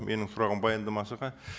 менің сұрағым баяндамашыға